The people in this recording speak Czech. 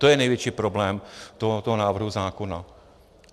To je největší problém tohoto návrhu zákona.